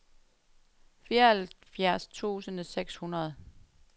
fireoghalvfjerds tusind seks hundrede